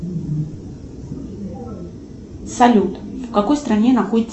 салют в какой стране находится